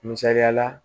Misaliyala